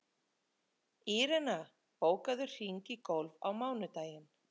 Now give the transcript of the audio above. Írena, bókaðu hring í golf á mánudaginn.